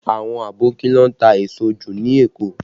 Àwọn Aboki ló ń ta èso jù ní Èkó